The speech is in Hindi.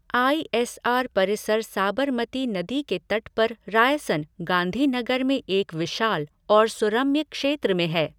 आई एस आर परिसर साबरमती नदी के तट पर रायसन, गांधीनगर में एक विशाल और सुरम्य क्षेत्र में है।